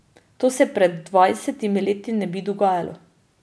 To se pred dvajsetimi leti ne bi dogajalo.